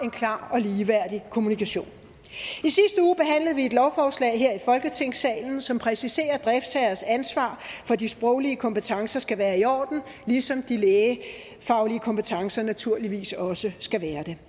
klar og ligeværdig kommunikation i vi et lovforslag her i folketingssalen som præciserer driftsherrers ansvar for at de sproglige kompetencer skal være i orden ligesom de lægefaglige kompetencer naturligvis også skal være det